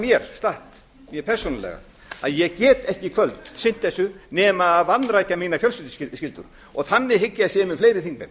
statt hjá mér persónulega að ég get ekki sinnt þessu í kvöld nema að vanrækja mínar fjölskylduskyldur og þannig hygg ég að sé með fleiri þingmenn